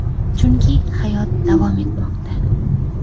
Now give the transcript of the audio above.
Chunki hayot davom etmoqda.